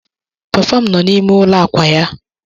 Papa m nọ n'ime ụlọ àkwà ya.